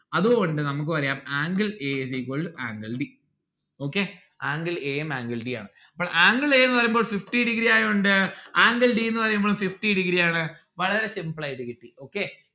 അത് കൊണ്ട് നമ്മുക്ക് പറയാം angle a is equal to angle d. okay. angle a ഉം angle d ഉ ആണ് അപ്പോൾ angle a ന്നു പറയുമ്പോൾ fifty degree ആയോണ്ട് angle d ന്ന്‌ പറയുമ്പോൾ fifty degree ആണ് വളരെ simple ആയിട്ട് കിട്ടി okay